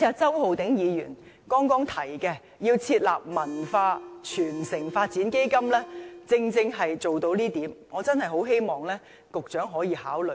周浩鼎議員剛才提出要設立"文化傳承發展基金"，正正可以做到這點，我真的很希望局長可以考慮。